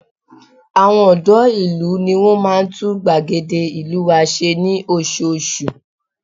Àwọn ọ̀dọ́ ìlú ní wọn máa ń tún gbàgede ìlú wa ṣe ní oṣooṣù